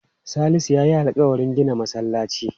Salisu ya yi alƙawarin gina masallaci.